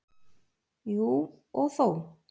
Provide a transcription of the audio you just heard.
Jú, og þó.